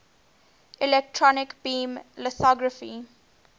electron beam lithography